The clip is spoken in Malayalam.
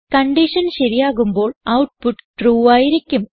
കൺഡിഷൻ ശരിയാകുമ്പോൾ ഔട്ട്പുട്ട് ട്രൂ ആയിരിക്കും